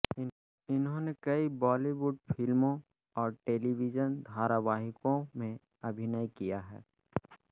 इन्होंने कई बॉलीवुड फिल्मों और टेलीविज़न धारावाहिकों में अभिनय किया है